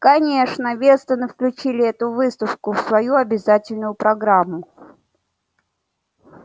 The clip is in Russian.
конечно вестоны включили эту выставку в свою обязательную программу